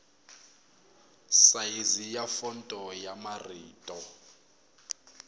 sayizi ya fonto ya marito